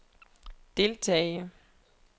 deltage